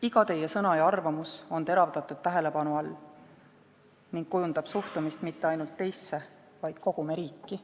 Iga teie sõna ja arvamus on teravdatud tähelepanu all ning kujundab suhtumist mitte ainult teisse, vaid kogu meie riiki.